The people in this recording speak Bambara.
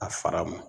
A fara ma